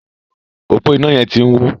ọpo iná yén tí ń wọ.